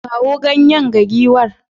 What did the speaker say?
Kawo ganye ga giwar.